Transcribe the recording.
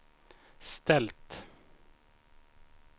ställt